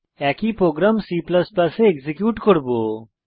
একই program C এ execute করব